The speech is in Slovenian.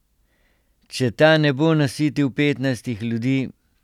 Če ta ne bo nasitil petnajstih ljudi ...